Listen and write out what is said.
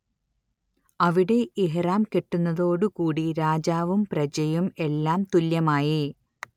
അവിടെ ഇഹ്റാം കെട്ടുന്നതോടുകൂടി രാജാവും പ്രജയും എല്ലാം തുല്യമായി